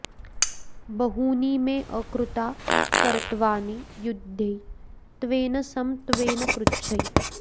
बहूनि मे अकृता कर्त्वानि युध्यै त्वेन सं त्वेन पृच्छै